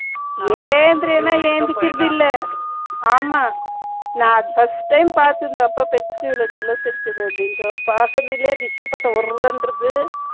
எந்திரினா எந்திரிக்கிறது இல்ல ஆமா நான் first time பார்த்தது அப்போ pets இவ்ளோ jealous இருக்குது அப்படின்றது rishi பார்த்தா ஒர் என்றது